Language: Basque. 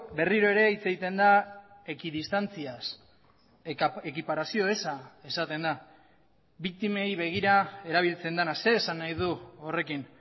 berriro ere hitz egiten da ekidistantziaz ekiparazio eza esaten da biktimei begira erabiltzen dena zer esan nahi du horrekin